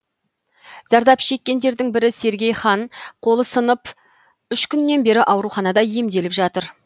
зардап шеккендердің бірі сергей хан қолы сынып үш күннен бері ауруханада емделіп жатыр